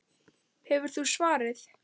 Hefur þú svarið?